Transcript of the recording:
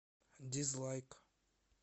дизлайк